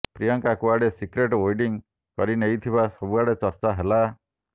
ପ୍ରିୟଙ୍କା କୁଆଡେ secret wedding କରିନେଇଥିବା ସବୁଆଡେ ଚର୍ଚ୍ଚ ହେଲା